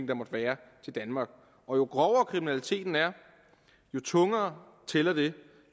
der måtte være til danmark og jo grovere kriminaliteten er jo tungere tæller det